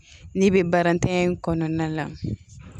N'i bɛ barantanya in kɔnɔna la